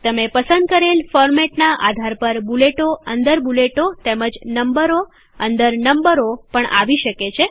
તમે પસંદ કરેલ ફોરમેટનાં આધાર પર બુલેટો અંદર બુલેટો તેમજ નંબરો અંદર નંબરો પણ આવી શકે છે